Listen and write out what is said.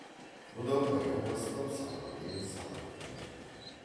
бұда баяу бастап сабырмен салмақпен айтты